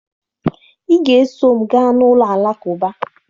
Ị ga-eso m gaa n'ụlọ Alakụba!